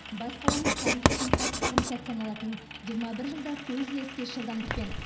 бас қаламыз тарих үшін қас қағым сәт саналатын жиырма бір жылда көз іліспес жылдамдықпен